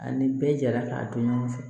Ani bɛɛ jara k'a dɔn ɲɔgɔn fɛ